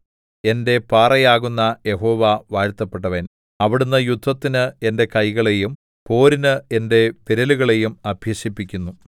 എന്റെ പാറയാകുന്ന യഹോവ വാഴ്ത്തപ്പെട്ടവൻ അവിടുന്ന് യുദ്ധത്തിന് എന്റെ കൈകളെയും പോരിന് എന്റെ വിരലുകളെയും അഭ്യസിപ്പിക്കുന്നു